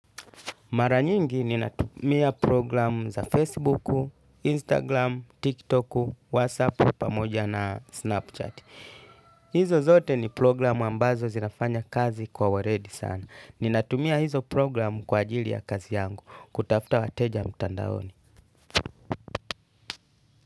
Mara nyingi ninatumia program za Facebooku, Instagram, TikToku, Whatsappu pamoja na Snapchat. Hizo zote ni program ambazo zinafanya kazi kwa waredi sana. Ninatumia hizo program kwa ajili ya kazi yangu kutafuta wateja mtandaoni.